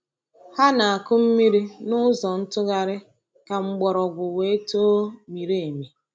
Ha na-akụ mmiri n’ụzọ ntụgharị ka mgbọrọgwụ wee too miri emi.